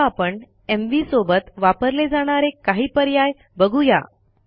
आता आपण एमव्ही सोबत वापरले जाणारे काही पर्याय बघू या